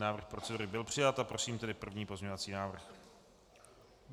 Návrh procedury byl přijat a prosím tedy první pozměňovací návrh.